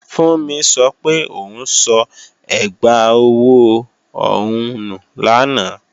Fúnmi sọ pé òun sọ ẹgbà ọwọ́ òun nù lánàá